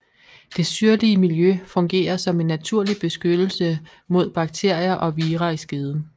Det syrlige miljø fungerer som en naturlig beskyttelse mod bakterier og vira i skeden